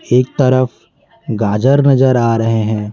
एक तरफ गाजर नजर आ रहे हैं।